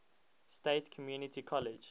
state community college